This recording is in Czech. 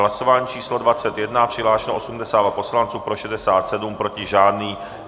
Hlasování číslo 21, přihlášeno 82 poslanců, pro 67, proti žádný.